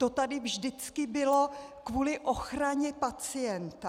To tady vždycky bylo kvůli ochraně pacienta.